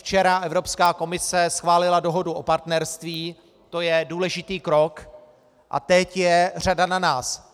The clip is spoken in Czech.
Včera Evropská komise schválila dohodu o partnerství, to je důležitý krok, a teď je řada na nás.